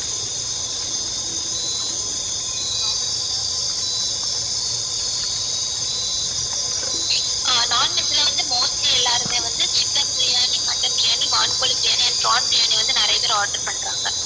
ஆஹ் non veg ல வந்து mostly எல்லாருமே வந்து chicken பிரியாணி mutton பிரியாணி வான் கோழி பிரியாணி and prawn பிரியாணி வந்து நிறைய பேர் order பண்றாங்க